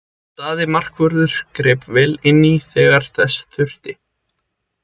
Daði markvörður greip vel inní þegar þess þurfti.